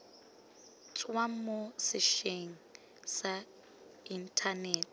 tswa mo setsheng sa inthanete